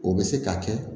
O bɛ se ka kɛ